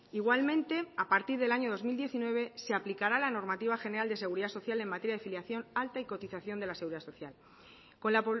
igualmente a partir del año dos mil diecinueve se aplicará la normativa general de seguridad social en materia de filiación alta y cotización de la seguridad social con la